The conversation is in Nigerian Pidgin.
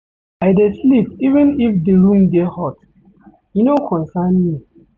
I dey sleep even if di room dey hot, e no concern me.